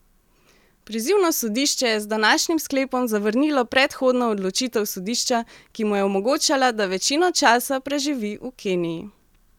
Prizivno sodišče je z današnjim sklepom zavrnilo predhodno odločitev sodišča, ki mu je omogočala, da večino časa preživi v Keniji.